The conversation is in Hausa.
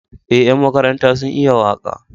Eh ƴan makaranta sun iya waka